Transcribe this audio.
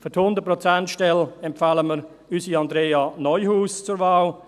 Für die 100-Prozent-Stelle empfehlen wir unsere Andrea Neuhaus zur Wahl.